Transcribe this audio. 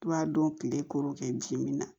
I b'a dɔn kile kɔrɔ kɛ ji min na